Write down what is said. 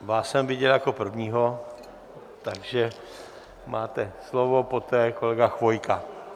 Vás jsem viděl jako prvního, takže máte slovo, poté kolega Chvojka.